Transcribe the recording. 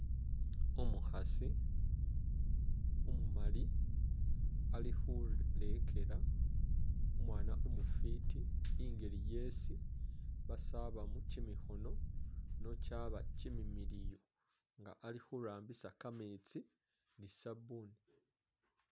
Umukhasi umumali ali khulekela umwana umufiti i'ngeli yesi basabaamo kimikhono nochaba kimimiliyu nga ali khurambisa kametsi ni sabuni.